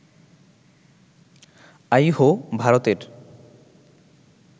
আইহো, ভারতের